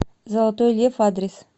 золотой лев адрес